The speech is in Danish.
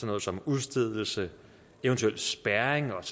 noget som udstedelse eventuel spærring og